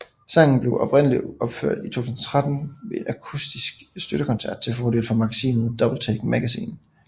Sangen blev oprindeligt opført i 2003 ved en akustisk støttekoncert til fordel for magasinet Doubletake Magazine